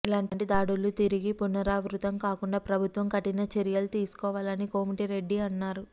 ఇలాంటి దాడులు తిరిగి పునరావృతం కాకుండా ప్రభుత్వం కఠిన చర్యలు తీసుకోవాలని కోమటిరెడ్డి అన్నారు